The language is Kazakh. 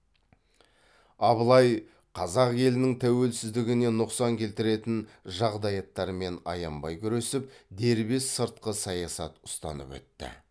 абылай қазақ елінің тәуелсіздігіне нұқсан келтіретін жағдаяттармен аянбай күресіп дербес сыртқы саясат ұстанып өтті